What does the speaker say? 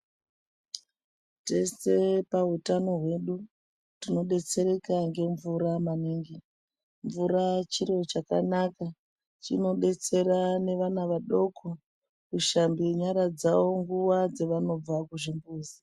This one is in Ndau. Tese pautano hwedu, tinodetsereka ngemvura maningi. Mvura chiro chakanaka maningi. Chinodetsera nevana vadoko ,kuhambe nyara dzavo nguva dzavanobva kuchimbuzi.